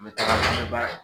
Me taga an bɛ baara la.